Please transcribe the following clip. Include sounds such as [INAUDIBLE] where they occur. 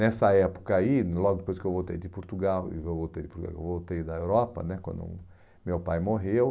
Nessa época aí, logo depois que eu voltei de Portugal, [UNINTELLIGIBLE] eu voltei da Europa né, quando meu pai morreu.